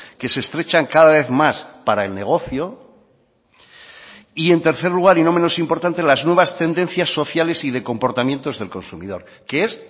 que se estrechan cada vez más para el negocio y en tercer lugar y no menos importante las nuevas tendencias sociales y de comportamientos del consumidor que es